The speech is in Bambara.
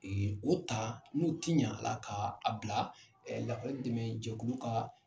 o ta n'u tiɲa ala ta ka a bila dɛmɛjɛkuluw ka.